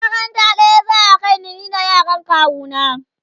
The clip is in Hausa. makaranta ɗaya za'a kaimu ni da yaran kawu na